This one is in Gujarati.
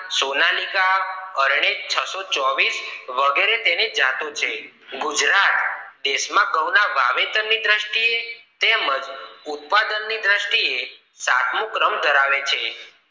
સોનાલિકા અરણેજ છ સો ચોવીસ વગેરે તેની જાતો છે ગુજરાત દેશા માં ઘઉ વાવેતર નો દ્રષ્ટિએ તેમજ ઉત્પાદન ની દ્રષ્ટિએ સતમું ક્રમ ધરાવે છે